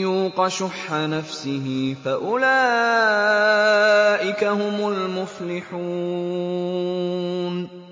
يُوقَ شُحَّ نَفْسِهِ فَأُولَٰئِكَ هُمُ الْمُفْلِحُونَ